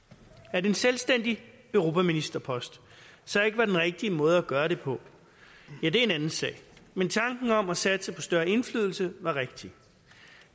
at en selvstændig europaministerpost så ikke var den rigtige måde at gøre det på ja det er en anden sag men tanken om at satse på større indflydelse var rigtig